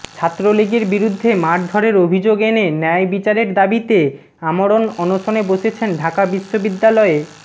ছাত্রলীগের বিরুদ্ধে মারধরের অভিযোগ এনে ন্যায় বিচারের দাবিতে আমরণ অনশনে বসেছেন ঢাকা বিশ্ববিদ্যালয়ে